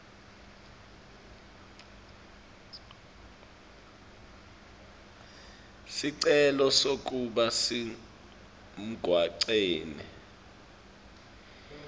sicelo sekuba semgwaceni